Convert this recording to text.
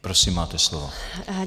Prosím, máte slovo.